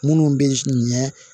Minnu bɛ ɲɛ